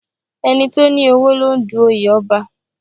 Ẹni tó ní owó ló ń du oyè Ọba